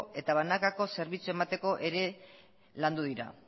eta banakako zerbitzuak emateko ere landu dira